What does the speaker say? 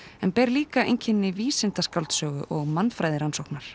en ber líka einkenni vísindaskáldsögu og